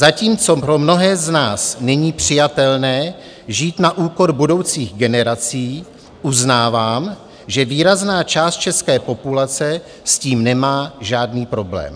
Zatímco pro mnohé z nás není přijatelné žít na úkor budoucích generací, uznávám, že výrazná část české populace s tím nemá žádný problém.